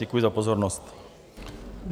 Děkuji za pozornost.